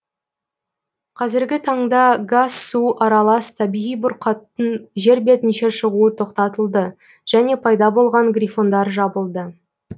қазіргі таңда газ су аралас табиғи бұрқақтың жер бетінше шығуы тоқтатылды және пайда болған грифондар жабылды